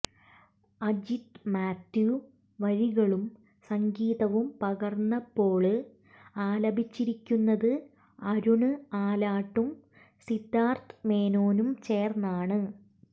അജിത് മാത്യു വരികളും സംഗീതവും പകര്ന്നപ്പോള് ആലപിച്ചിരിക്കുന്നത് അരുണ് ആലാട്ടും സിദ്ധാര്ഥ് മേനോനും ചേര്ന്നാണ്